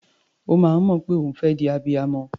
Ó máa ń mọ̀ pé òun fẹ́ di abiyamọ.